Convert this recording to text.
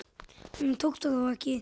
Honum tókst það þó ekki.